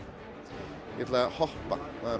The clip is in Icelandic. ég ætla að hoppa